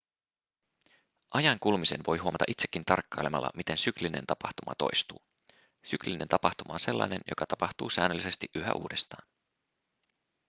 ajan kulumisen voi huomata itsekin tarkkailemalla miten syklinen tapahtuma toistuu syklinen tapahtuma on sellainen joka tapahtuu säännöllisesti yhä uudestaan